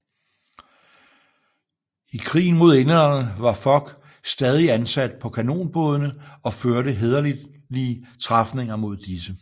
I krigen mod englænderne var Fog stadig ansat på kanonbådene og førte hæderlige træfninger mod disse